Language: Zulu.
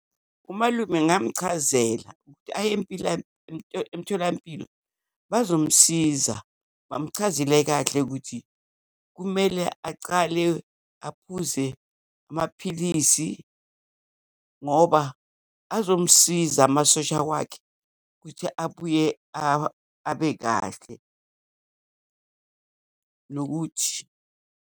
UMalume ngamchazela ukuthi aye empila, emtholampilo bazomsiza, bamchazele kahle ukuthi kumele acale aphuze amaphilisi, ngoba azomsiza amasosha wakhe ukuthi abuye abe kahle, nokuthi.